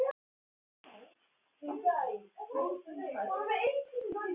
Og hitt sagði hún ekki afþvíað hún vissi ekki neitt.